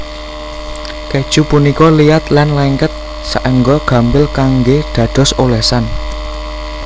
Kèju punika liat lan lengket saéngga gampil kanggé dados olesan